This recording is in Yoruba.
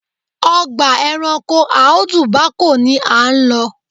Ọgbà ẹranko Audu Bako ni à ń lọ.